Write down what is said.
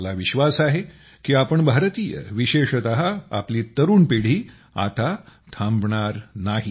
मला विश्वास आहे की आपण भारतीय विशेषत आपली तरुण पिढी आता थांबणार नाही